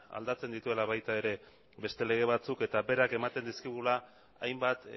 aldatzen dituela baita ere beste lege batzuk eta berak ematen dizkigula hainbat